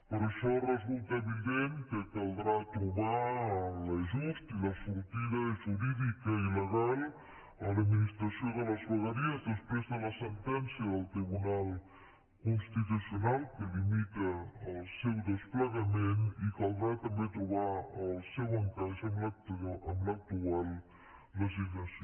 per això resulta evident que caldrà trobar l’ajust i la sortida jurídica legal a l’administració de les vegueries després de la sentència del tribunal constitucional que limita el seu desplegament i caldrà també trobar el seu encaix amb l’actual legislació